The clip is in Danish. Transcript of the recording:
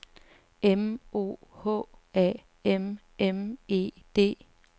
M O H A M M E D